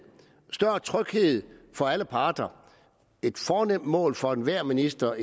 og større tryghed for alle parter et fornemt mål for enhver minister